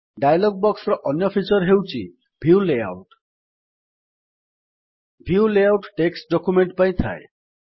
dialog ବକ୍ସର ଅନ୍ୟ feature ହେଉଛି view layout view layout text document ପାଇଁ ଥାଏ